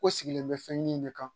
Ko sigilen bɛ fɛnɲini de kan